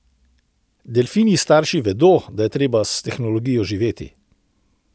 Delfinji starši vedo, da je treba s tehnologijo živeti.